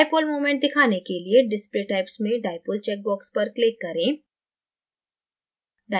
dipole moment दिखाने के लिए display types में dipole check box पर click करें